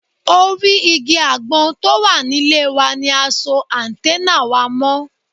Orí igi àgbọn tó wà nílé wa ni a so áńtẹ́nà wa mọ́